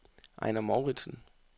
Ejnar Mouritsen